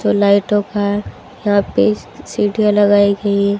तो लाइटों का यहां पे सीढ़ियां लगाई गई--